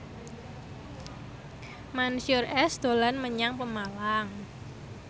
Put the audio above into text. Mansyur S dolan menyang Pemalang